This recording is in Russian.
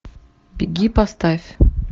беги поставь